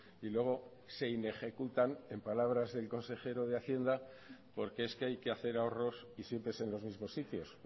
y luego se inejecutan en palabras del consejero de hacienda porque es que hay que hacer ahorros y siempre es en los mismos sitios